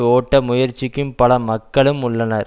ஓட்ட முயற்சிக்கும் பல மக்களும் உள்ளனர்